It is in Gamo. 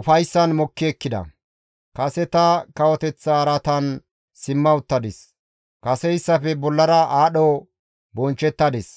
ufayssan mokki ekkida; kase tani kawoteththa araatan simma uttadis; kaseyssafe bollara aadho bonchchettadis.